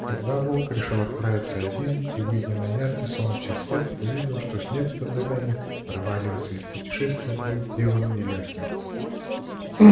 тогда волк решил отправиться один и выйдя на яркий солнечный свет увидел что снег под ногами проваливается и путешествие будет делом не лёгким